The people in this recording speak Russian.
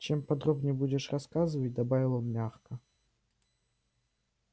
чем подробнее будешь рассказывать добавил он мягко